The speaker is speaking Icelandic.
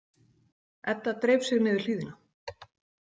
Edda dreif sig niður hlíðina.